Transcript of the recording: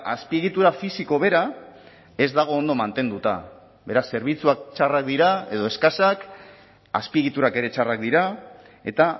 azpiegitura fisiko bera ez dago ondo mantenduta beraz zerbitzuak txarrak dira edo eskasak azpiegiturak ere txarrak dira eta